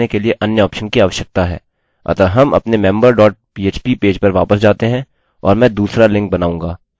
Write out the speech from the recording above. अतः हम अपने member dot php पेज पर वापस जाते हैं और मैं दूसरा लिंक बनाऊँगा